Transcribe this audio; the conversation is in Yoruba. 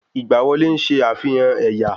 Ìgbà wọlé ń ṣe àfihàn ẹ̀yà